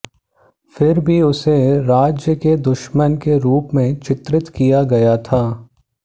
फिर भी उसे राज्य के दुश्मन के रूप में चित्रित किया गया था